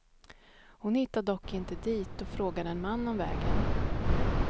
Hon hittade dock inte dit och frågade en man om vägen.